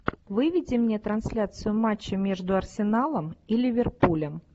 выведи мне трансляцию матча между арсеналом и ливерпулем